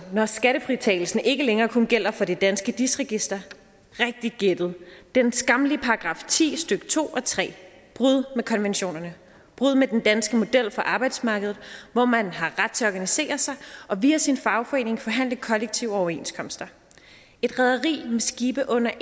når skattefritagelsen ikke længere kun gælder for det danske dis register rigtigt gættet den skammelige § ti stykke to og tre brud med konventionerne brud med den danske model for arbejdsmarkedet hvor man har ret til at organisere sig og via sin fagforening forhandle kollektive overenskomster et rederi med skibe under